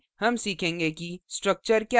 इस tutorial में हम सीखेंगे कि